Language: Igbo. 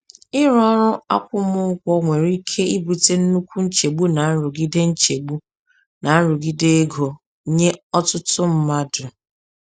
Ịrụ ọrụ akwụmụgwọ nwere ike ibute nnukwu nchegbu na nrụgide nchegbu na nrụgide ego nye ọtụtụ mmadụ.